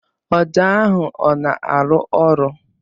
Ọjà ahụ ọ na-arụ ọrụ?